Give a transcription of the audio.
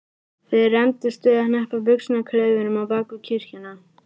Þeir rembdust við að hneppa buxnaklaufunum á bak við kirkjuna.